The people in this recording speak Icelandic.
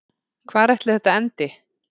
Hvar ætli þetta endi?